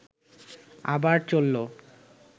আবার চলল